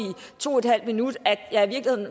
to en halv minut at jeg